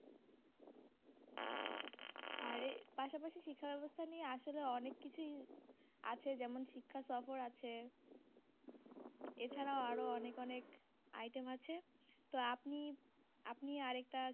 আর এর পাশাপাশি শিক্ষাব্যবস্থা নিয়ে আসলে অনেককিছুই আছে যেমন শিক্ষা সফর আছে এছাড়াও আরও অনেক অনেক item আছে, তো আপনি আপনি আর একটা